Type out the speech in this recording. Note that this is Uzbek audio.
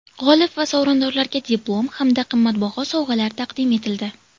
G‘olib va sovrindorlarga diplom hamda qimmatbaho sovg‘alar taqdim etildi.